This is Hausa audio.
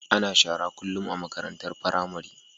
Ana shara kullum a makarantar pramari